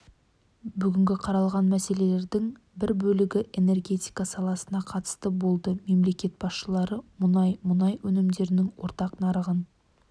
бүгін қаралған мәселелердің бір бөлігі энергетика саласына қатысты болды мемлекет басшылары мұнай мұнай өнімдерінің ортақ нарығын